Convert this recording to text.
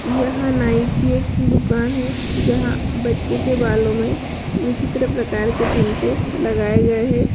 यह नाई की एक दुकान है जहाँ बच्चे के बालों मे विचित्र प्रकार के चिमटे लगाए गए है।